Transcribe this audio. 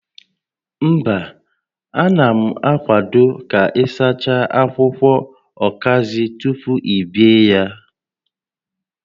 Mba, a na m akwado ka ị sachaa akwụkwọ ọkazị tupu i bee ya